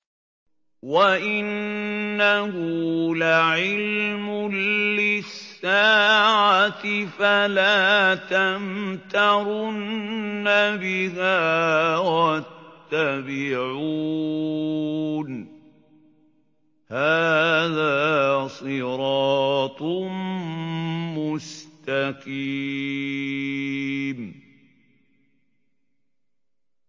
وَإِنَّهُ لَعِلْمٌ لِّلسَّاعَةِ فَلَا تَمْتَرُنَّ بِهَا وَاتَّبِعُونِ ۚ هَٰذَا صِرَاطٌ مُّسْتَقِيمٌ